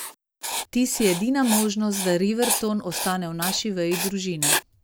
Ti si edina možnost, da Riverton ostane v naši veji družine.